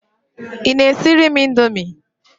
Ị na-esire m Indomie?